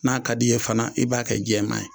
N'a ka di i ye fana i b'a kɛ jɛman ye